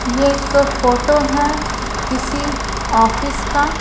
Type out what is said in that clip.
ये एक फोटो है किसी ऑफिस का--